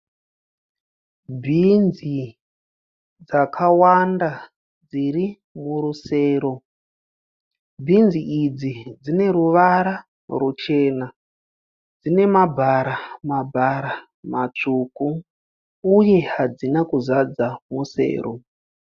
Bhinzi dzakawanda dziri murusero. Bhinzi idzi dzineruvara ruchena. Dzine mabhara mabhara matsvuku uye hadzina kuzadza rusero